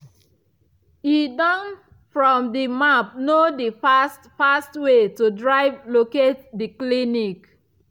e don from the map know the fast fast way to drive locate the clinic